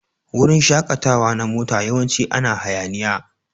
Wurin shakatawa na mota yawanci ana hayaniya.